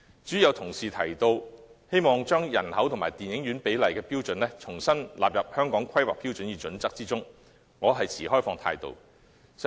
至於有同事建議把人口與電影院比例的標準重新納入《規劃標準》，我持開放態度。